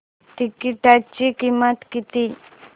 तिकीटाची किंमत किती